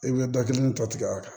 I bɛ da kelen tɔ tigɛ a kan